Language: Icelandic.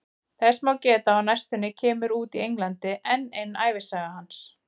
Þess má geta að á næstunni kemur út í Englandi enn ein ævisaga hans.